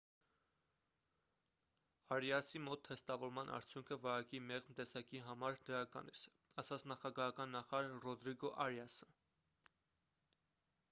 արիասի մոտ թեստավորման արդյունքը վարակի մեղմ տեսակի համար դրական էր ասաց նախագահական նախարար ռոդրիգո արիասը